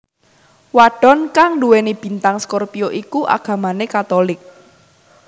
Wadon kang nduweni bintang scorpio iku agamane Katolik